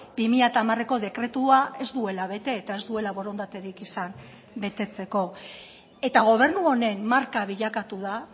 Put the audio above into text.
bi mila hamareko dekretua ez duela bete eta ez duela borondaterik izan betetzeko eta gobernu honen marka bilakatu da